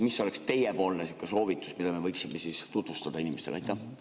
Mis oleks teie soovitus, mida me võiksime tutvustada inimestele?